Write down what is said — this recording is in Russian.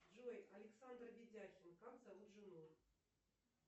джой александр ведяхин как зовут жену